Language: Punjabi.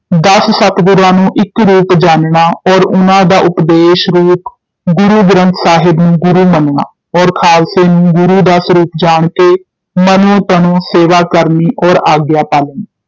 ਦਸ ਸਤਿਗੁਰਾਂ ਨੂੰ ਇਕ ਰੂਪ ਜਾਣਨਾ, ਔਰ ਉਨ੍ਹਾਂ ਦਾ ਉਪਦੇਸ਼ ਰੂਪ ਗੁਰੂ ਗ੍ਰੰਥ ਸਾਹਿਬ ਨੂੰ ਗੁਰੂ ਮੰਨਣਾ, ਔਰ ਖਾਲਸੇ ਨੂੰ ਗੁਰੂ ਦਾ ਸਰੂਪ ਜਾਣ ਕੇ ਮਨੋਂ ਤਨੋਂ ਸੇਵਾ ਕਰਨੀ ਔਰ ਆਗਿਆ ਪਾਲਨੀ